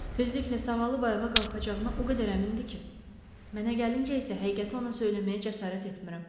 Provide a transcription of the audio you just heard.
Tezliklə sağalıb ayağa qalxacağına o qədər əmindir ki, mənə gəlincə isə həqiqəti ona söyləməyə cəsarət etmirəm.